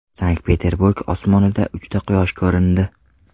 Sankt-Peterburg osmonida uchta Quyosh ko‘rindi .